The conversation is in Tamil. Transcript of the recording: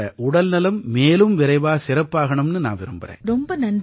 உங்களோட உடல்நலம் மேலும் விரைவா சிறப்பாகணும்னு நான் விரும்பறேன்